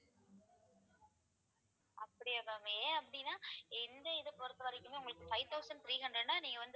அப்படியா ma'am ஏன் அப்படின்னா எந்த இதை பொறுத்தவரைக்குமே உங்களுக்கு five thousand three hundred ன்னா நீங்க வந்து